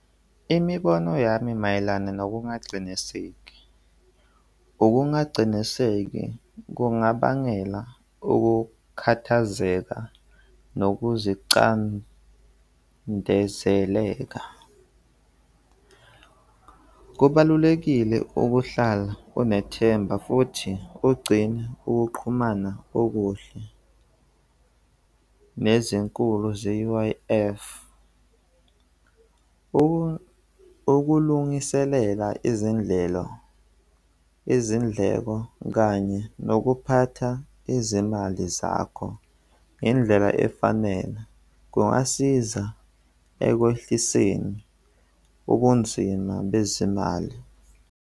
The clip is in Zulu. Imibono yami mayelana nokungaciniseki, ukungaciniseki kungabangela ukukhathazeka nokuzicandezeleka. Kubalulekile ukuhlala unethemba futhi ugcine ukuqhumana okuhle nezinkulu ze-U_I_F. Ukulungiselela izindlelo, izindleko kanye nokuphatha izimali zakho ngendlela efanele kungasiza ekwehliseni ubunzima bezimali.